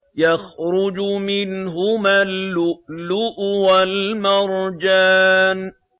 يَخْرُجُ مِنْهُمَا اللُّؤْلُؤُ وَالْمَرْجَانُ